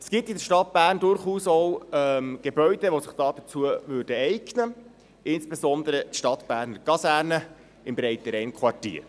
Es gibt in der Stadt Bern durchaus auch Gebäude, die sich dazu eignen würden, insbesondere die Stadtberner Kaserne im Breitenrainquartier.